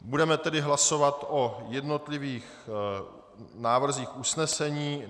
Budeme tedy hlasovat o jednotlivých návrzích usnesení.